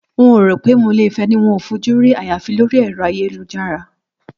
N ò rò pé mo lè fé̩ e̩ni tí n ò fojú rí àyàfi lórí è̩ro̩ ayélujára